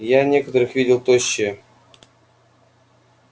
я некоторых видел тощие